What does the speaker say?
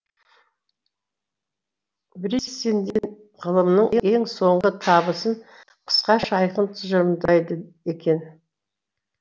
бриссенден ғылымның ең соңғы табысын қысқаша айқын тұжырымдайды екен